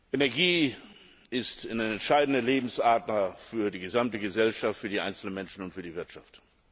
Energie ist eine entscheidende Lebensader für die gesamte Gesellschaft, für die einzelnen Menschen und für die Wirtschaft.